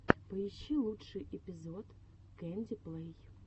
поищи лучший эпизод кэнди плэй